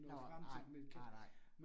Nåh nej, nej nej